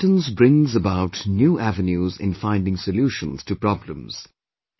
Acceptance brings about new avenues in finding solutions to problems